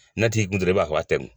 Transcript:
Ne t'i